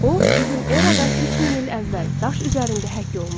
O, bizim eradan 3000 il əvvəl daş üzərində həkk olunub.